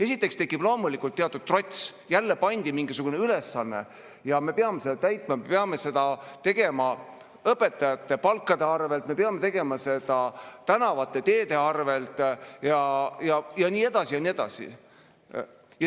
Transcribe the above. Esiteks tekib loomulikult teatud trots: jälle pandi mingisugune ülesanne ja me peame seda täitma, peame seda tegema õpetajate palkade arvel, me peame tegema seda tänavate-teede arvel ja nii edasi ja nii edasi.